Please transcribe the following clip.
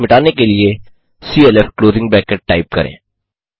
plot मिटाने के लिए clf टाइप करें